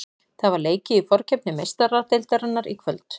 Það var leikið í forkeppni Meistaradeildarinnar í kvöld.